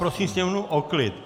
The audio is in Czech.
Prosím sněmovnu o klid!